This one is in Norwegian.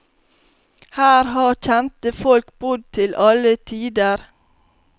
Her har kjente folk bodd til alle tider.